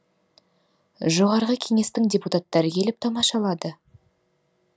жоғарғы кеңестің депутаттары келіп тамашалады